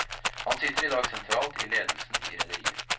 Han sitter i dag sentralt i ledelsen i rederiet.